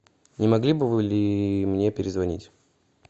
не могли бы вы мне перезвонить